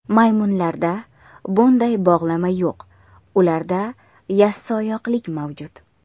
Maymunlarda bunday bog‘lama yo‘q ularda yassioyoqlik mavjud.